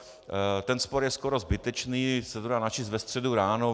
Ten spor je skoro zbytečný, dá se to načíst ve středu ráno.